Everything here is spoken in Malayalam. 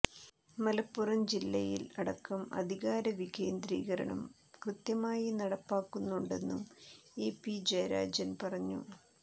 മലപ്പുറം ജില്ലയിൽ അടക്കം അധികാര വികേന്ദ്രീകരണം കൃത്യമായി നടപ്പാക്കുന്നുണ്ടെന്നും ഇ പി ജയരാജൻ പറഞ്ഞു